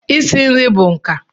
Isi nri bụ nka